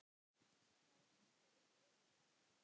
Köln hefur breytt öllu.